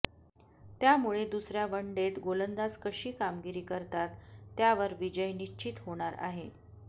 त्यामुळे दुसऱ्या वनडेत गोलंदाज कशी कामगिरी करतात त्यावर विजय निश्चित होणार आहे